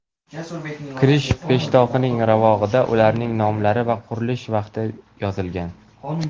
Kirish peshtoqining ravog‘ida ularning nomlari va qurilish vaqti yozilgan.